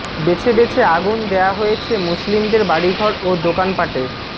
বেছে বেছে আগুন দেয়া হয়েছে মুসলিমদের বাড়িঘর ও দোকানপাটে